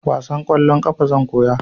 Wasan kwallon ƙafa zan koya